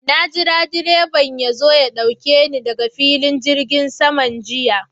Na jira direban ya zo ya ɗauke ni daga filin jirgin saman jiya.